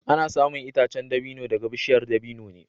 Ana samun itacen dabino daga bishiyar dabino ne